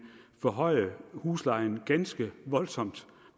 forhøje huslejen ganske voldsomt